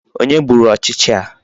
Onye gburu ọchịcha a?